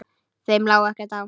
Þeim lá ekkert á.